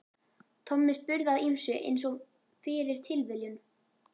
Tommi spurði að ýmsu einsog fyrir tilviljun.